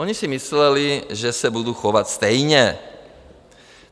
Oni si mysleli, že se budu chovat stejně.